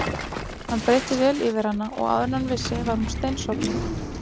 Hann breiddi vel yfir hana og áður en hann vissi var hún steinsofnuð.